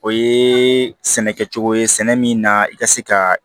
O ye sɛnɛ kɛcogo ye sɛnɛ min na i ka se ka